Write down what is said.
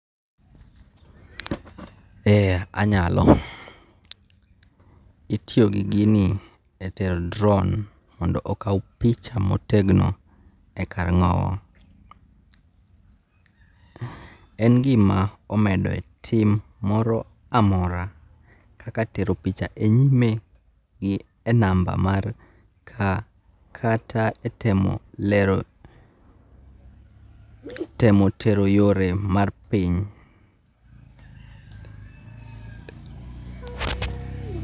Ee anyalo itiyo gi gini e tero drone mondo okaw picha motegno e kar ngo'wo, en gima omedoe tim moro amora kaka tero picha e nyime gi number mar ka kata ka itemo lero, temo tero yore mar piny.